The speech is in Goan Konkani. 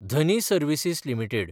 Dhani services limited